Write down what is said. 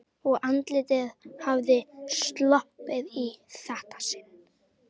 Og andlitið hafði sloppið í þetta sinn.